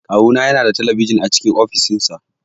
Kawu na yana da talabijin a cikin ofis din sa.